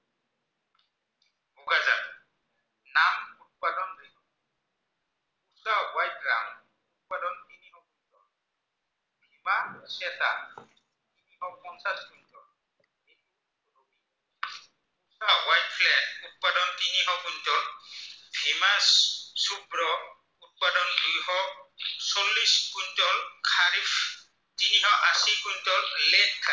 আশী কুইন্টল